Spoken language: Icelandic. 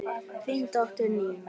Þín dóttir, Nína.